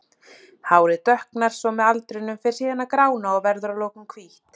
Hárið dökknar svo með aldrinum, fer síðan að grána og verður að lokum hvítt.